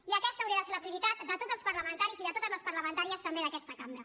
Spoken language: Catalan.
i aquesta hauria de ser la prioritat de tots els parlamentaris i de totes les parlamentàries també d’aquesta cambra